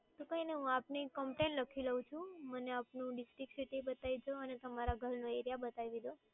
તો કઈ નહીં હું આપની complain લખી લવ છું. મને આપનું district, city બતાવી દેજો અને તમારા ઘરનો area બતાવી દેજો.